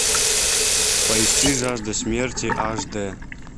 поищи жажда смерти аш дэ